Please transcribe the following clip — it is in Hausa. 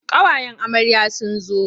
Ƙawayen amarya sun zo.